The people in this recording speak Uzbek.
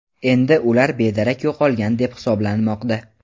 Endi ular bedarak yo‘qolgan deb hisoblanmoqda.